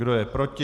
Kdo je proti?